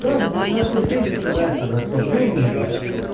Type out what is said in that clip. как здесь нахуй двигаться дальше расскажи мне блять